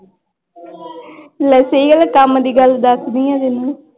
ਲੈ ਸਹੀ ਗੱਲ ਆ ਕੰਮ ਦੀ ਗੱਲ ਦੱਸਦੀ ਹਾਂ ਤੈਨੂੰ।